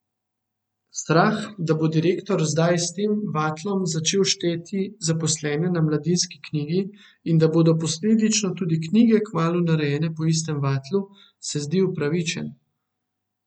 Strah, da bo direktor zdaj s tem vatlom začel šteti zaposlene na Mladinski knjigi, in da bodo posledično tudi knjige kmalu narejene po istem vatlu, se zdi upravičen.